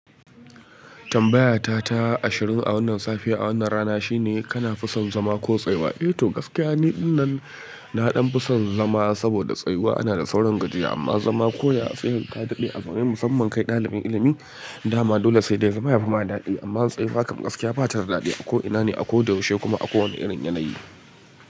Tambaya ta ta ashirin a wannan safe a wannan rana shine kana fi son zama ko tsayuwa? Eh to gaskiya ni ɗinnan nadan fiso zama saboda tsayuwa anada saurin gajiya amma zama koya ka dade a zaune musamman kai ɗalibin ilimi dama dole sai zama yafima dadi, amma tsayuwa kam gaskiya batada dadi, ako ina ne akoda yaushe, kuma akowani irin yanayi.